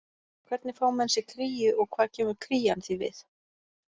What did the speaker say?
Hvernig fá menn sér kríu og hvað kemur krían því við?